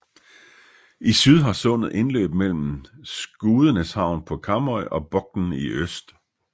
I syd har sundet indløb mellem Skudeneshavn på Karmøy og Bokn i øst